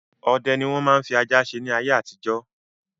Ọdẹ ni wọn máa ń fi ajá dẹ ni ayé àtijọ́.